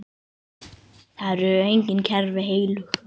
Það eru engin kerfi heilög.